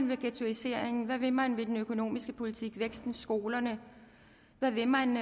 ved ghettoiseringen hvad vil man med den økonomiske politik væksten skolerne hvad vil man